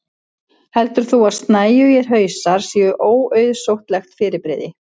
heldur þú að snæugir hausar séu óauðsóttlegt fyrirbrigði